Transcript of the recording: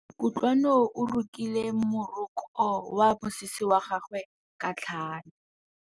Kutlwanô o rokile morokô wa mosese wa gagwe ka tlhale.